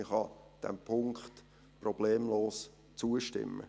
Man kann diesem Punkt problemlos zustimmen.